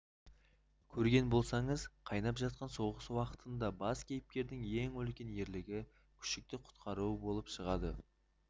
көрген болсаңыз қайнап жатқан соғыс уақытында бас кейіпкердің ең үлкен ерлігі күшікті құтқаруы болып шығады